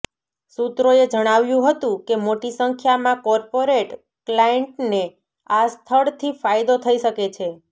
સૂત્રએ જણાવ્યું હતું કે મોટી સંખ્યામાં કોર્પોરેટ ક્લાયન્ટને આ સ્થળથી ફાયદો થઈ શકે છે